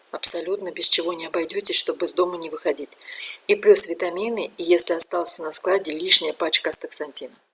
абсолютно без чего не обойдётесь чтобы из дома не выходить и плюс витамины если остался на складе лишняя пачка астаксантина